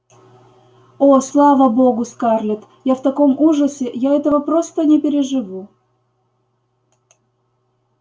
о слава богу скарлетт я в таком ужасе я этого не переживу